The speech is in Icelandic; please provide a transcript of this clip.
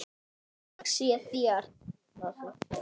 Þökk sé þér, kæra systir.